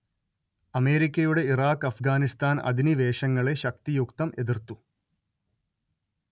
അമേരിക്കയുടെ ഇറാഖ് അഫ്ഗാനിസ്താൻ അധിനിവേശങ്ങളെ ശക്തിയുക്തം എതിർത്തു